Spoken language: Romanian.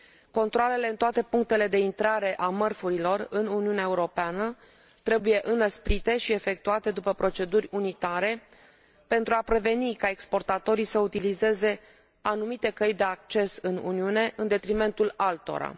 Controalele în toate punctele de intrare a mărfurilor în Uniunea Europeană trebuie înăsprite și efectuate după proceduri unitare, pentru a preveni ca exportatorii să utilizeze anumite căi de acces în Uniune, în detrimentul altora.